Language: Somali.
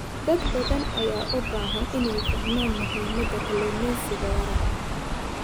Dad badan ayaa u baahan inay fahmaan muhiimada kalluumeysiga waara.